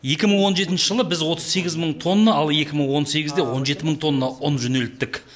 екі мың он жетінші жылы біз отыз сегіз мың тонна ал екі мың он сегізде он жеті мың тонна ұн жөнелттік